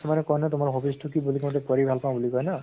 মানে কয় না তোমাৰ hobbies টো কি বুলি কওঁতে পঢ়ি ভাল পাওঁ বুলি কয় ন?